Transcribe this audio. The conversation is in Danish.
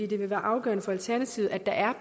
det vil være afgørende for alternativet at der er